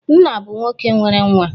Nna bụ nwoke nwere nwa.